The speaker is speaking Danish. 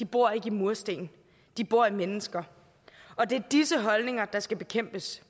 bor ikke i mursten de bor i mennesker og det er disse holdninger der skal bekæmpes